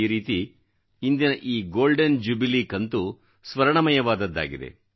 ಈ ರೀತಿ ಇಂದಿನ ಈ ಗೋಲ್ಡನ್ ಜ್ಯುಬಿಲಿ ಕಂತು ಸ್ವರ್ಣಮಯವಾದದ್ದಾಗಿದೆ